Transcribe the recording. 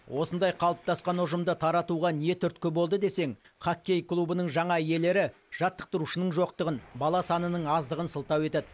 осындай қалыптасқан ұжымды таратуға не түрткі болды десең хоккей клубының жаңа иелері жаттықтырушының жоқтығын бала санының аздығын сылтау етеді